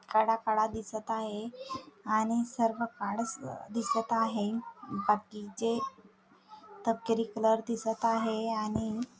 कडा कडा दिसत आहे आणि सर्व काळसर दिसत आहे बाकीचे तपकिरी कलर दिसत आहे आणि--